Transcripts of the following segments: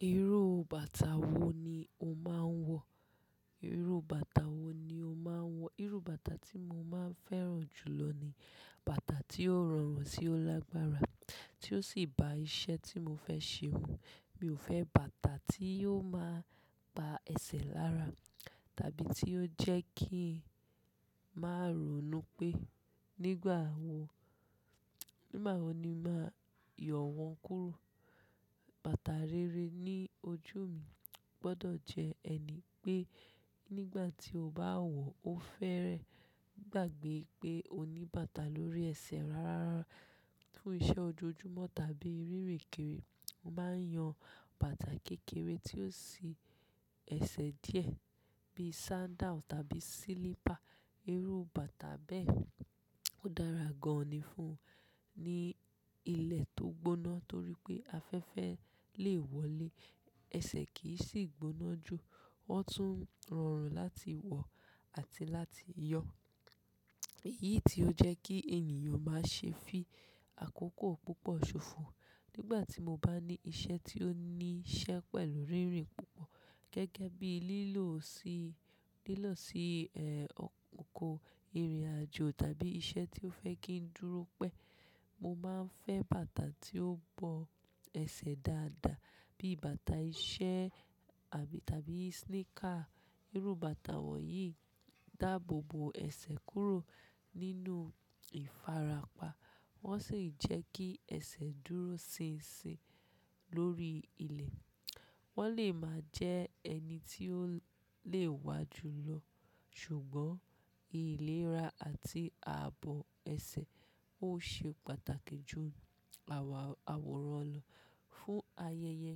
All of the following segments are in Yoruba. Irú bàtà wo ni o máa ń wọ? Irú bàtà wo ni o máa ń wọ? Irú bàtà tí mo máa ń fẹ́ràn jù lọ ni bàtà tí ó rọrùn sí ó lágbára tí ó sì bá iṣẹ́ tí mo fẹ́ ṣe mu. Mi ò fẹ́ bàtà tí yóò máa pa ẹsẹ̀ lára tàbí tí yóò jẹ́ kí ń máa ronú pé nígbà wo, nígbà wo ni màá yọ wọn kúrò. Bàtà rere ní ojú mi gbọ́dọ̀ jẹ́ ẹni pé nígbà tí o bá wọ̀ ó fẹ́rẹ̀ẹ́ gbàgbé pé o ní bàtà lórí ẹsẹ̀ rara fún iṣẹ́ ojoojúmọ́ tàbí rírèkére. Mo máa ń yan bàtà kékeré tí ó sì ẹsẹ̀ díẹ̀ bíi sandal tàbí silipa. Irú bàtà bẹ́ẹ̀ dára gan-an ni fún ni ilẹ̀ tó gbóná torí pé afẹ́fẹ́ lè wọlé, ẹsẹ̀ kì í sì gbóná jù, wọ́n tún rọrùn láti wọ̀ àti láti yọ. Èyí tí ó jẹ́ kí ènìyàn máa ṣe fi àkókò púpọ̀ ṣòfò. Nígbà tí mo bá ní iṣẹ́ tí ó nííṣẹ́ pẹ̀lú rínrin púpọ̀ gẹ́gẹ́ bí i lílọ sí, lílọ sí, ẹ́, oko ìrìnàjò tàbí iṣẹ́ tí ó fẹ́ kí n dúró pẹ́, mo máa ń fẹ́ bàtà tí ó bo ẹsẹ̀ dáadáa bí bàtà iṣẹ́ àbí tàbí sneaker. Irú bàtà wọ̀nyí dáàbò bo ẹsẹ̀ kúrò nínú ìfarapa wọ́n sì ń jẹ́ kí ẹsẹ̀ dúró sinsin lórí ilẹ̀. Wọ́n lè máa jẹ́ ẹni tí ó lè wá ju lọ, ṣùgbọ́n ìlera àti ààbò ẹsẹ̀ ó ṣe pàtàkì ju àwọ̀, àwòrán lọ. Fún ayẹyẹ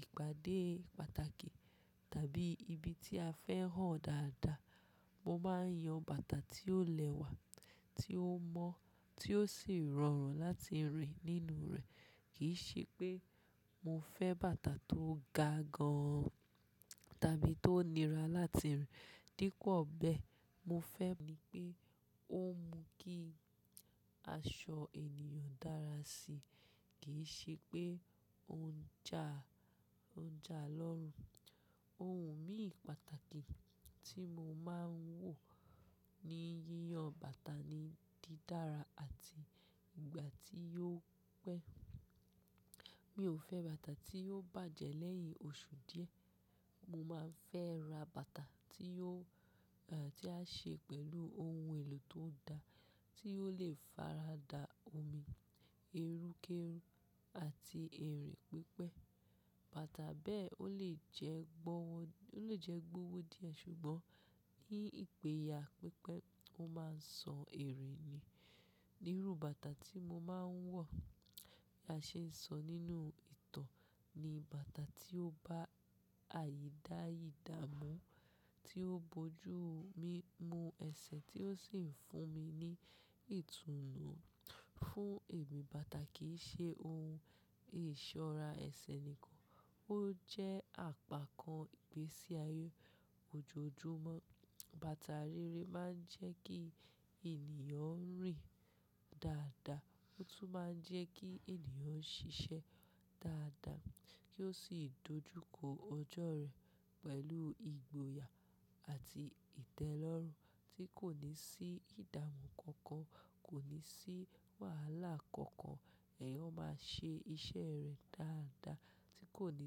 ìpàdé pàtàkì tàbí ibi tí a fẹ́ hàn dáadáa, mo máa ń yan bàtà tí ó lẹ́wà, tí ó mọ́ tí ó sì rọrùn láti rìn nínú rẹ̀. Kì í ṣe pé mo fẹ́ bàtà tó ga gan-an tàbí tó nira láti rìn. Dípò bẹ́ẹ̀, mo fẹ́ ni pé ó mú kí aṣọ ènìyàn dára sí i. Kì í ṣe pé ó ń ja, ó ń ja lọ́rùn. Ohun mìíràn pàtàkì tí mo máa ń wò ní yíyan bàtà ni dídára àti ìgbà tí yóó pẹ́. Mi ò fẹ́ bàtà tí yóò bàjẹ́ lẹ́yìn oṣù díẹ̀. Mo máa ń fẹ́ ra bàtà tí yóò, ẹ́, tí á ṣe pẹ̀lú ohun èlò tó da tí ó lè farada omi, ẹrúkẹ́rú àti ẹ̀rìń pípẹ́. Bàtà bẹ́ẹ̀ ó lè jẹ́ gbọ́wọ́, ó lè jẹ́ gbọ́wọ́ díẹ̀ ṣùgbọ́n ní ìpèyà pípẹ́ ó máa ń sọ ère ni. Irú bàtà tí mo máa ń wọ̀ a ṣe sọ nínú ìtàn ni bàtà tí ó bá àyídáyidá mú, tí ó bojú mi mú ẹsẹ̀ tí ó sì ń fún mi ní ìtùnú. Fún èmi, bàtà kì í ṣe ohun ìṣọ́ra ẹsẹ̀ nìkan, ó jẹ́ àpá kan ìgbésí ayé ojoojúmọ́. Bàtà rere máa ń jẹ́ kí ènìyàn rìn dáadáa, ó tún máa ń jẹ́ kí ènìyàn ṣiṣẹ́ dáadáa kí ó sì dojúkọ ọjọ́ rẹ̀ pẹ̀lú ìgboyà àti ìtẹ́lọ́rùn tí kò ní sí ìdààmú kankan, kò ní sí wàhálà kankan. Ẹ̀yàn máa ṣe iṣẹ́ rẹ̀ dáadáa tí kò ní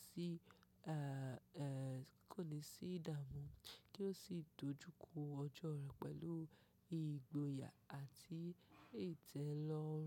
sí, ẹ́, ẹ́, tí kò ní sí ìdààmú kí ó sì dojúkọ ọjọ́ rẹ̀ pẹ̀lú ìgboyà àti ìtẹ́lọ́rùn.